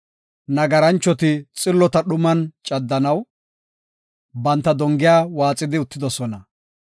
Nagaranchoti xillota dhuman caddanaw, banta dongiya waaxidi uttidosona.